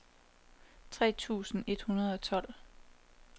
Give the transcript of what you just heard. tre tusind et hundrede og tolv